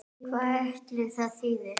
Hvað ætli það þýði?